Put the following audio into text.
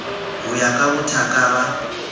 ho ya ka bothaka ba